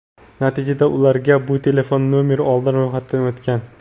Natijada ularga "Bu telefon nomer oldin ro‘yxatdan o‘tgan!"